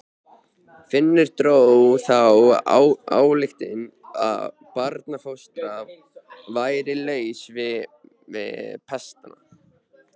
Finnur dró þá ályktun að barnfóstran væri laus við pestina.